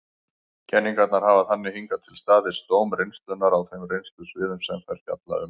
Kenningarnar hafa þannig hingað til staðist dóm reynslunnar á þeim reynslusviðum sem þær fjalla um.